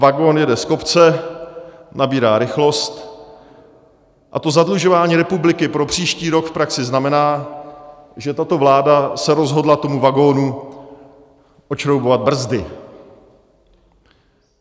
Vagon jede z kopce, nabírá rychlost a to zadlužování republiky pro příští rok v praxi znamená, že tato vláda se rozhodla tomu vagonu odšroubovat brzdy.